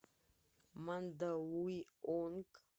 мандалуйонг